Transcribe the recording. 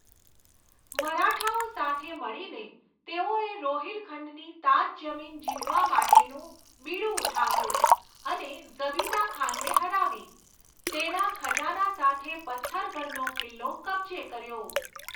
મરાઠાઓ સાથે મળીને, તેઓએ રોહિલખંડની તાજ જમીન જીતવા માટેનુંં બીડું ઉઠાવ્યું અને ઝબિતા ખાનને હરાવી, તેના ખજાના સાથે પથ્થરગઢનો કિલ્લો કબજે કર્યો.